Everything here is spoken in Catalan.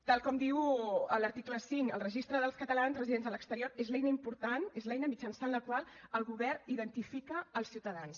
tal com diu l’article cinc el registre dels catalans residents a l’exterior és l’eina important és l’eina mitjançant la qual el govern identifica els ciutadans